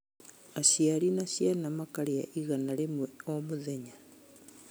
Aciari na ciana makarĩa igana rĩmwe o mũthenya